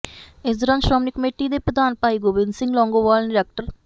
ਇਸ ਦੌਰਾਨ ਸ਼੍ਰੋਮਣੀ ਕਮੇਟੀ ਦੇ ਪ੍ਰਧਾਨ ਭਾਈ ਗੋਬਿੰਦ ਸਿੰਘ ਲੌਂਗੋਵਾਲ ਨੇ ਡਾ